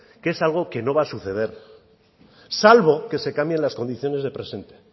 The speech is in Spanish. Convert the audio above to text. que es algo que no va a suceder salvo que se cambien las condiciones de presente